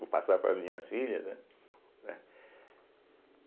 Vou passar para as minhas filhas, né, né.